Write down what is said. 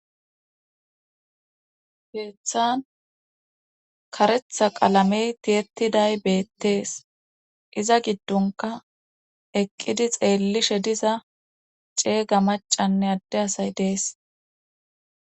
Keeththan karetha qalamen tiyetiday beetees. Iza gidonkka eqqidi xeelishe diza ceega maccanne adde asay dees.